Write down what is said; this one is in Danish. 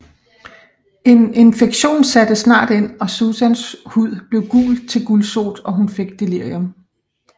En infektion sætte snart ind og Suesans hud blev gul til gulsot og hun fik delirium